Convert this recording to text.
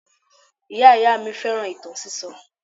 Ìyá-ìyá mi fẹ́ràn ìtàn sísọ